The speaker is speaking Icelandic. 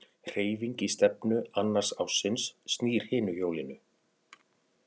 Hreyfing í stefnu annars ássins snýr hinu hjólinu.